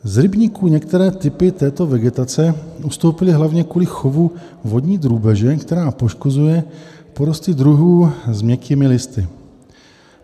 Z rybníků některé typy této vegetace ustoupily hlavně kvůli chovu vodní drůbeže, která poškozuje porosty druhů s měkkými listy.